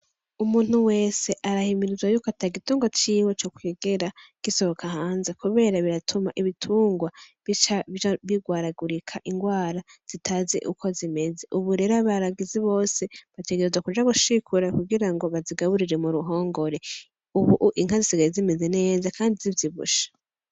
Umuntu wese arahimirizwa y’uko ntagitunga ciwe co kwigera gisohoka hanze kubera biratuma ibitungwa bica bigwaragurika ingwara zitazi uko zimeze, ubu rero abaragizi bose bategerezwa kuja gushikura kugirango bazigaburire m’uruhongore, ubuhu inka zisigaye zimeze neza kandi zivyibushe.